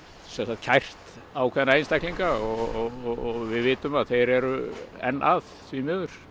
kært ákveðna einstaklinga og við vitum að þeir eru enn að því miður